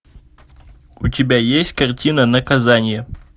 у тебя есть картина наказание